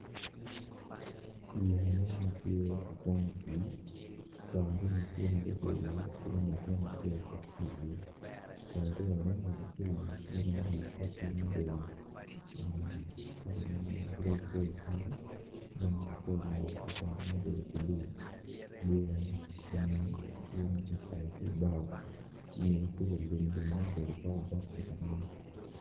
Yea mo matye ka kwango i pi coo mo aryo tye magubedo i ye kidong latin acel tye ma obedo i ye coo aryo ni ngat acel tye ma oruko koti ma obedo kala ma grey grey kidong ngat acel oruko ko bongo ma obedo blue yea enini tye maki payo ki bao ingeye kuca lumlum mo ma obedo obok obok tye ka nen.